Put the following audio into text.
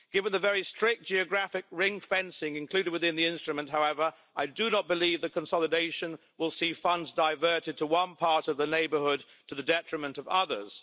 Given the very strict geographic ring fencing included within the instrument, however, I do not believe the consolidation will see funds diverted to one part of the Neighbourhood to the detriment of others.